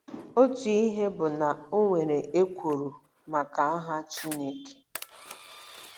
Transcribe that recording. Otu ihe bụ na o nwere ekworo maka aha Chineke.